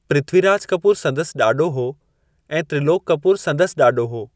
पृथ्वीराज कपूर संदसि ॾाॾो हो ऐं त्रिलोकु कपूर संदसि ॾाॾो हो।